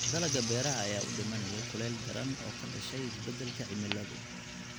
Dalagga beeraha ayaa u dhimanaya kulayl daran oo ka dhashay isbeddelka cimiladu.